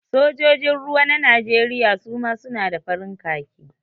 Sojojin ruwa na Najeriya suma su na da farin khaki